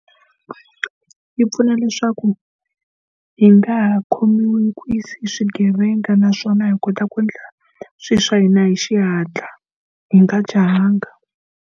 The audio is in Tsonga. Yi pfuna leswaku hi nga ha khomiwi nkunzi hi swigevenga naswona hi kota ku endla swilo swa hina hi xihatla, hi nga jahanga.